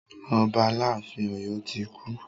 Ọba aláàfin Ọ̀yọ́ ti kú.